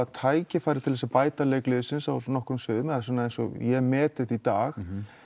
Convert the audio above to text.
tækifæri til þess að bæta leik liðsins á nokkrum sviðum eins og ég met þetta í dag